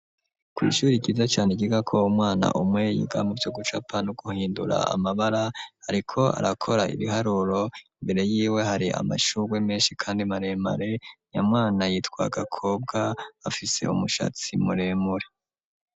Kw'ishuri ryiza cane ryiga ko umwana umwe yiga muvyo gucapa no guhindura amabara, ariko arakora ibiharuro imbere yiwe hari amashugwe menshi kandi maremare, nyamwana yitwa Gakobwa afise umushatsi muremure.